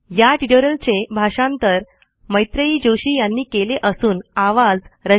या ट्युटोरियलचे भाषांतर मैत्रेयी जोशी यांनी केले असून आवाज